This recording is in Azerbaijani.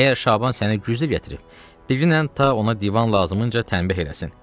əgər Şaban səni güclə gətirib, digənən ta ona divan lazımınca tənbeh eləsin.